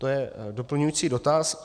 To je doplňující dotaz.